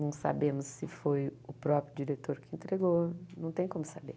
Não sabemos se foi o próprio diretor que entregou, não tem como saber.